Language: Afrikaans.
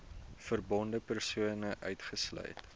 verbonde persone uitgesluit